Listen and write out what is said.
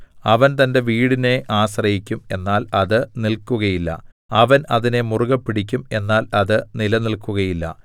അവൻ തന്റെ വീടിനെ ആശ്രയിക്കും എന്നാൽ അത് നില്‍ക്കുകയില്ല അവൻ അതിനെ മുറുകെ പിടിക്കും എന്നാൽ അത് നിലനില്‍ക്കുകയില്ല